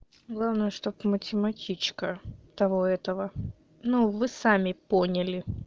главное чтобы математичка того этого ну вы сами поняли